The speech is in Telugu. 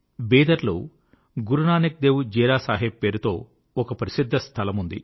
బీదర్ లో గురునానక్ దేవ్ జీరా సాహెబ్ పేరుతో ఒక ప్రసిద్ధ స్థలముంది